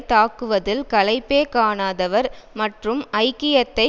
தாக்குவதில் களைப்பே காணாதவர் மற்றும் ஐக்கியத்தை